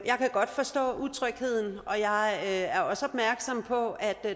godt forstå utrygheden og jeg er også opmærksom på